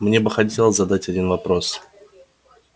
мне бы хотелось задать один вопрос